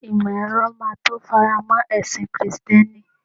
imo ero ma to faramo ẹsìn Kristẹni